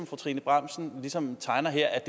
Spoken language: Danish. fru trine bramsen ligesom tegner her